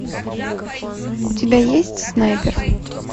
у тебя есть снайпер